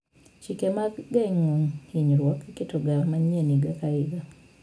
Chike mag geng'o hinyruok iketoga manyien higa ka higa.